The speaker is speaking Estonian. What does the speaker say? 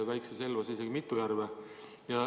Väikses Elvas on isegi mitu järve.